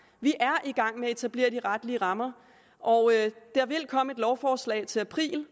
vi er i gang med at etablere de retlige rammer og der vil komme et lovforslag til april